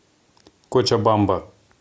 кочабамба